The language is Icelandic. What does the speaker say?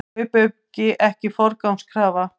Kaupauki ekki forgangskrafa